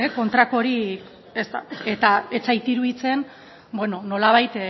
kontrakorik ez da eta ez zait iruditzen beno nolabait